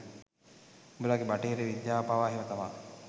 උඹලගෙ බටහිර විද්‍යාව පවා එහම තමයි